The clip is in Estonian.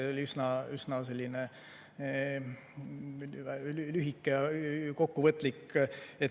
See oli üsna lühike ja kokkuvõtlik.